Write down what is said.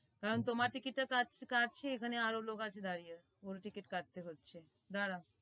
কারণ তোমার ticket টা কাটছি এখানে আরও লোক আছে দাঁড়িয়ে ওই ticket কাটতে হচ্ছে দাড়াও।